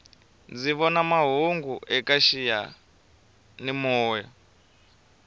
ndzi vona mahungu eka xiyani moya